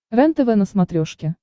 рентв на смотрешке